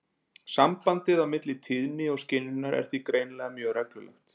Sambandið á milli tíðni og skynjunar er því greinilega mjög reglulegt.